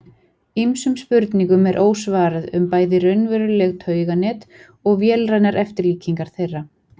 Ýmsum spurningum er ósvarað um bæði raunveruleg tauganet og vélrænar eftirlíkingar þeirra.